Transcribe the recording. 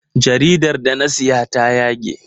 Jaridar da na siya ta yage.